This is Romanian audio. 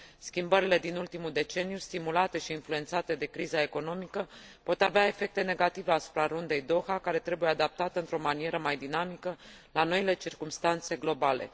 Schimbările din ultimul deceniu, stimulate și influențate de criza economică, pot avea efecte negative asupra Rundei Doha, care trebuie adaptată într o manieră mai dinamică la noile circumstanțe globale.